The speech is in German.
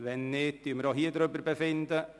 – Wenn nicht, werden wir auch hierüber befinden.